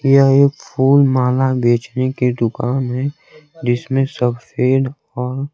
यह एक फूल माला बेचने की दुकान है जिसमें सब और--